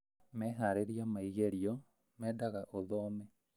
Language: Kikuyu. Meharĩrĩria ma igerio mendaga ũthome